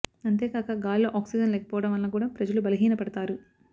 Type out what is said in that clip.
అంతేకాక గాలిలో ఆక్సిజన్ లేకపోవడం వలన కూడా ప్రజలు బలహీన పడతారు